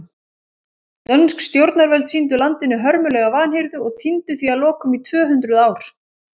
Dönsk stjórnarvöld sýndu landinu hörmulega vanhirðu og týndu því að lokum í tvö hundruð ár.